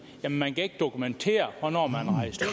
at man ikke kan dokumentere hvornår man